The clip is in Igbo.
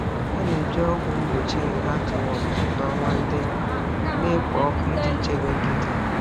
Ha na-eji ọgwụ mgbochi heartworm n’ọnwa ndị na-ekpo ọkụ iji chebe nkịta ha.